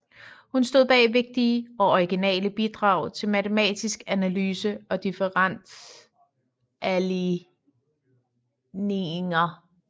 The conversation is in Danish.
Hun stod bag vigtige og originale bidrag til matematisk analyse og differentialligninger